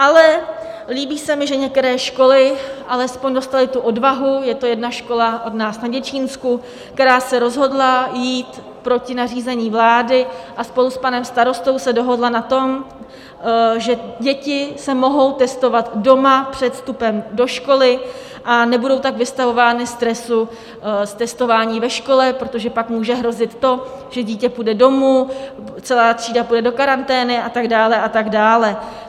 Ale líbí se mi, že některé školy alespoň dostaly tu odvahu, je to jedna škola od nás na Děčínsku, která se rozhodla jít proti nařízení vlády a spolu s panem starostou se dohodla na tom, že děti se mohou testovat doma před vstupem do školy, a nebudou tak vystavovány stresu z testování ve škole, protože pak může hrozit to, že dítě půjde domů, celá třída půjde do karantény a tak dále a tak dále.